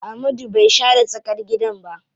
Amadu bai share tsakar gidan ba.